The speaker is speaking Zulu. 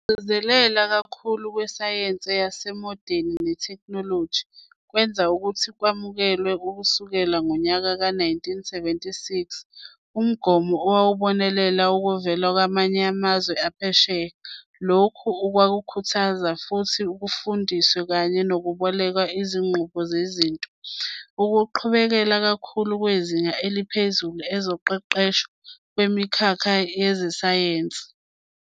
Ukugcizelela kakhulu kwisayense yesimodeni netheknoloji, kwenza ukuthi kwamukelwe, ukusukela ngonyaka ka 1976, umgomo owawubonelela okuvela kwamanye amazwe aphesheya, lokhu okwakhuthaza ukuthi kufundwe kanye nokuboleka izinqubo nezinto, ukuqhubela kakhulu kwizinga eliphezulu ezoqeqesho, kwimikhakha yezesayense.